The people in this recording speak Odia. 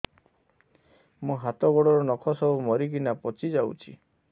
ମୋ ହାତ ଗୋଡର ନଖ ସବୁ ମରିକିନା ପଚି ଯାଉଛି